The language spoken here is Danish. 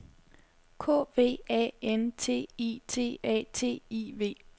K V A N T I T A T I V